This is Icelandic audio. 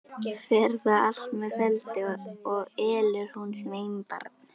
Fer það allt með felldu, og elur hún sveinbarn.